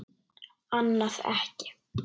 Annað ekki.